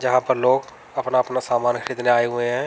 जहां पर लोग अपना अपना सामान खिदने आये हुए हैं।